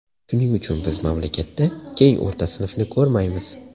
Shuning uchun biz mamlakatda keng o‘rta sinfni ko‘rmaymiz.